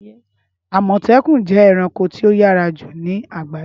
Ámọtẹkun jẹ ẹranko ti o yara ju ni agbaye.